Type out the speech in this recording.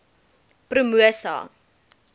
promosa